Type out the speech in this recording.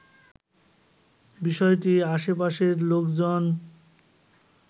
বিষয়টি আশেপাশের লোকজন